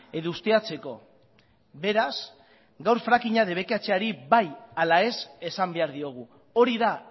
edo ustiatzeko beraz gaur frakinga debekatzeari bai ala ez esan behar diogu hori da